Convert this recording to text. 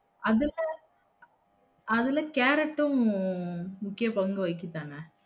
அதுல அதுல கேரட்டும் முக்கிய பங்கு வகிக்குது தான